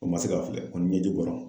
O ma se ka filɛ , o ni ɲɛji bɔra.